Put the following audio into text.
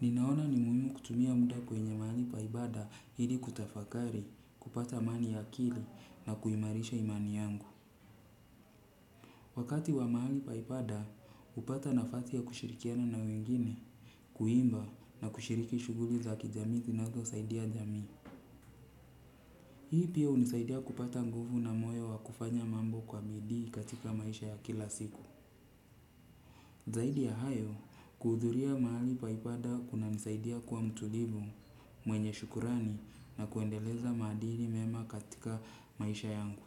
Ninaona ni muhimu kutumia muda kwenye mahali pa ibada ili kutafakari, kupata amani ya akili na kuimarisha imani yangu. Wakati wa mahali pa ibada, hupata nafasi ya kushirikiana na wengine kuimba na kushiriki shughuli za kijamii zinazosaidia jamii. Hii pia hunisaidia kupata nguvu na moyo wa kufanya mambo kwa bidii katika maisha ya kila siku. Zaidi ya hayo, kuhudhuria mahali pa ibada kunanisaidia kuwa mtulivu, mwenye shukrani na kuendeleza maadili mema katika maisha yangu.